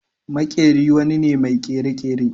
Makeri wani ne mai kere-kere.